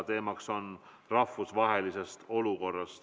Teemaks on rahvusvaheline olukord.